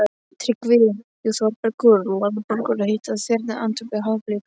TRYGGVI: Jú, Þórbergur, ljóðabækur heita Þyrnar, Andvökur, Hafblik.